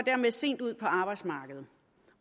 sent ud på arbejdsmarkedet